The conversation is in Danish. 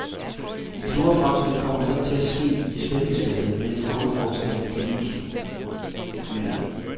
De store fremskridt kommer netop til at ske i spændingsfeltet mellem grundforskning og klinik, mener han.